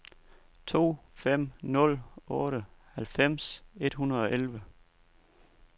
to fem nul otte halvfems et hundrede og elleve